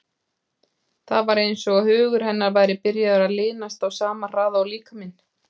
Það var eins og hugur hennar væri byrjaður að linast á sama hraða og líkaminn.